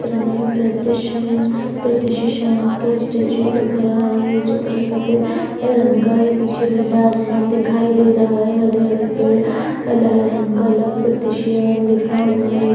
Statue दिख रहा है और चित्र सफ़ेद रंग का है। पीछे नीला आसमान दिखाई दे रहा है और हरे हरे पेड़ लाल रंग का लिखा हुआ है।